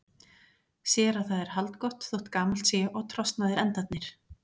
Sér að það er haldgott þótt gamalt sé og trosnaðir endarnir.